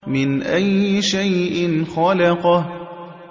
مِنْ أَيِّ شَيْءٍ خَلَقَهُ